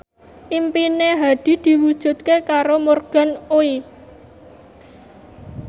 impine Hadi diwujudke karo Morgan Oey